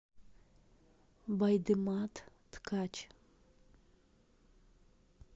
байдымат ткач